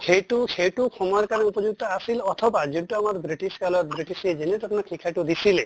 সেইটো সিইটো সময়ৰ কাৰণে আছিল অথবা যোনটো আমাৰ british কালৰ british আপোনাৰ শিক্ষাটো দিছিলে